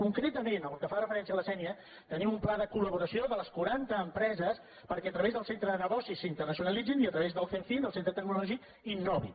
concreta·ment pel que fa referència a la sénia tenim un pla de col·laboració de les quaranta empreses perquè a tra·vés del centre de negocis s’internacionalitzin i a tra·vés del cenfim del centre tecnològic innovin